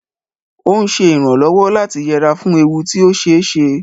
Ó ń ṣe ìrànlọ́wọ́ láti yẹra fún ewu tí ó ṣe é ṣe